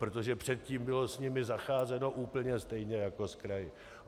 Protože předtím bylo s nimi zacházeno úplně stejně jako s kraji.